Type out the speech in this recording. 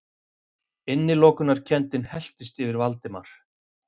Innilokunarkenndin helltist yfir Valdimar.